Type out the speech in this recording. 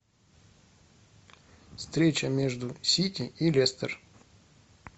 встреча между сити и лестер